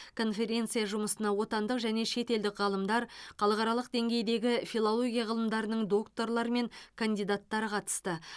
конференция жұмысына отандық және шетелдік ғалымдар халықаралық деңгейдегі филология ғылымдарының докторлары мен кандидаттары қатысты